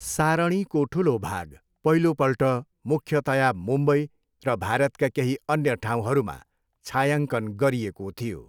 सारणीको ठुलो भाग पहिलोपल्ट मुख्यतया मुम्बई र भारतका केही अन्य ठाउँहरूमा छायाङ्कन गरिएको थियो।